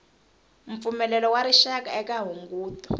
mpfumelelo wa rixaka eka hunguto